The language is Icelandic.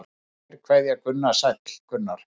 Kær kveðja Gunnar Sæll Gunnar.